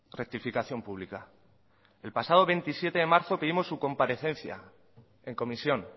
rectificación pública el pasado veintisiete de marzo pedimos su comparecencia en comisión